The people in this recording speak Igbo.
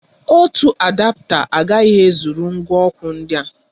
Ọ otu adapta agaghị ezụrụ ngwa ọkụ ndị a?